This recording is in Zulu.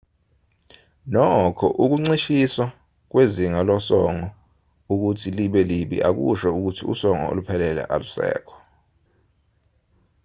nokho ukuncishiswa kwezinga losongo ukuthi libe libi akusho ukuthi usongo oluphelele alusekho